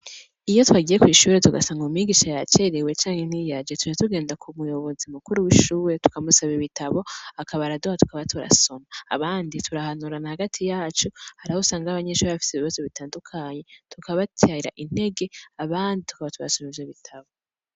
iyo twagiye ku ishure tugasanga umigisha ya cerewe cane n'iyaje ture tugenda ku muyobozi mukuru w'ishuwe tukamusaba ibitabo akaba araduha tukaba turasoma abandi turahanura na hagati yacu harahusanga 'abanyinshure bafite ibibazo bitandukanye tukabatarira intege abandi tukaba turasomije bitabo